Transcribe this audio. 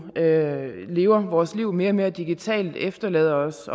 jo lever vores liv mere og mere digitalt efterlader os